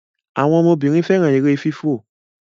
àwọn ọmọ Obìnrin féràn èrè fífọ